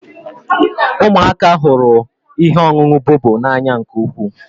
Ụmụaka hụrụ ihe ọṅụṅụ bobo n'anya nke ukwu